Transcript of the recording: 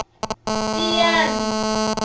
tiyani